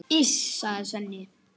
Þetta er norskt læri.